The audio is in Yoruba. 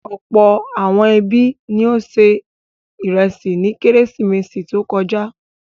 Ọ̀pọ̀ àwọn ẹbí ni ó se ìrẹsì ní Kérésìmesì tó kọjá.